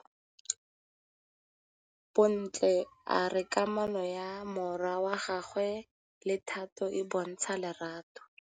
Bontle a re kamanô ya morwadi wa gagwe le Thato e bontsha lerato.